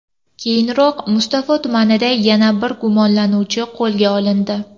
Keyinroq, Mustafo tumanida yana bir gumonlanuvchi qo‘lga olindi.